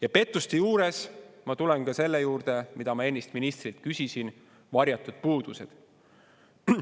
Ja pettuste juures ma tulen ka selle juurde, mida ma ennist ministrilt küsisin: varjatud puudused.